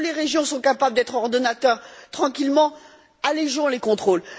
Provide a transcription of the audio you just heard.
Là où les régions sont capables d'être ordonnateurs tranquillement, allégeons les contrôles.